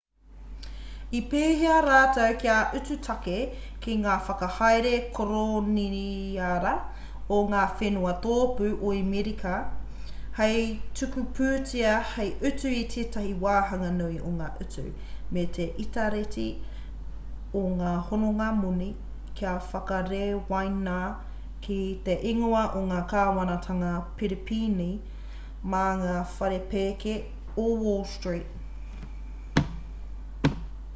i pēhia rātou kia utu tāke ki te whakahaere koroniara o ngā whenua tōpū o amerika hei tuku pūtea hei utu i tētahi wāhanga nui o ngā utu me te itareti o ngā hononga-moni kua whakarewaina ki te ingoa o te kāwanatanga piripīni mā ngā whare pēke o wall street